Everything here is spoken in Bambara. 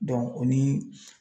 o ni